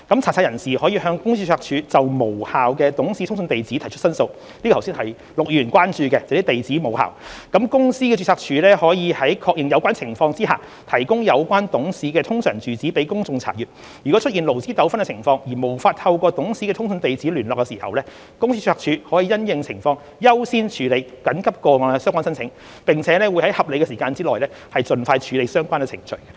查冊人士可向公司註冊處就無效的董事通訊地址提出申訴，這是陸議員剛才所關注的地址無效，公司註冊處可在確認有關情況下提供有關董事的通常住址予公眾查閱，如出現勞資糾紛情況而無法透過董事的通訊地址聯絡時，公司註冊處可因應情況優先處理緊急個案的相關申請，並會在合理時間內盡快處理相關程序。